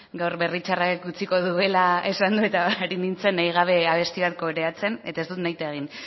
gaur berri txarrak utziko duela esan du eta ari nintzen nahi gabe abesti bat koreatzen eta ez dut nahita egin